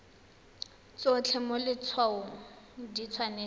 tsotlhe mo letshwaong di tshwanetse